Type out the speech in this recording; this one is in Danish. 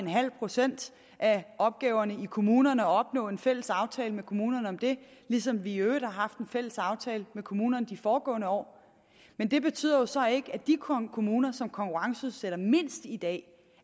procent af opgaverne i kommunerne og opnå en fælles aftale med kommunerne om det ligesom vi i øvrigt har haft en fælles aftale med kommunerne i de foregående år men det betyder jo så ikke at de kommuner som konkurrenceudsætter mindst i dag